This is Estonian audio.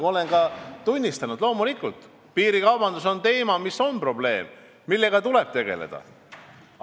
Ma olen tunnistanud, et loomulikult, piirikaubandus on probleem, millega tuleb tegeleda.